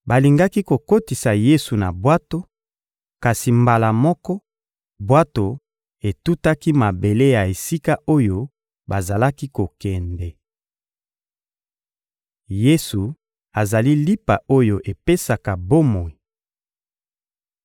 Balingaki kokotisa Yesu na bwato, kasi, mbala moko, bwato etutaki mabele ya esika oyo bazalaki kokende. Yesu azali lipa oyo epesaka bomoi (Mat 14.30-36; Mlk 6.53-56)